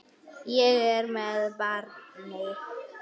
Ég er með barni.